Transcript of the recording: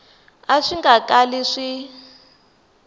a swi nga kali swi